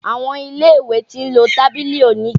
Àwọn ilé ìwé ti ń lo tábìlì oníke.